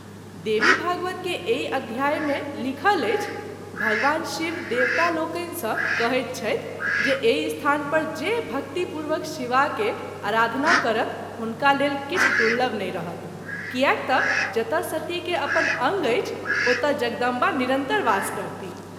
देवीभागवत के एहि अध्याय मे लिखल अछि -“ भगवान शिव देवता लोकनि सँ कहैत छथि जे एहि स्थान पर जे भक्ति पूर्वक शिवा के आराधना करत हुनका लेल किछु दुर्लभ नहिं रहत कियाक त’ जतय सती के अपन अंग अछि ओतए जगदम्बा निरंतर वास करती।